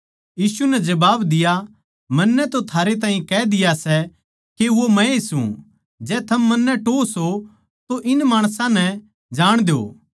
यीशु नै जबाब दिया मन्नै तो थारैताहीं कह दिया सै के वो मै सूं जै थम मन्नै टोह्वो सो तो इन माणसां नै जाण दो